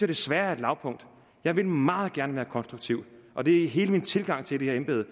desværre er et lavpunkt jeg ville meget gerne være konstruktiv og det er hele min tilgang til det her embede